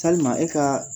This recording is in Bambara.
Yali ma e ka